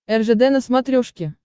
ржд на смотрешке